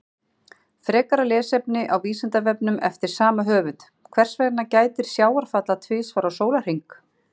Frekara lesefni á Vísindavefnum eftir sama höfund: Hvers vegna gætir sjávarfalla tvisvar á sólarhring?